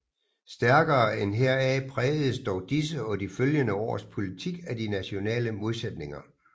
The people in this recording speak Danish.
Stærkere end heraf prægedes dog disse og de følgende års politik af de nationale modsætninger